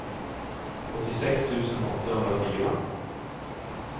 åttiosex tusen åttahundrafyra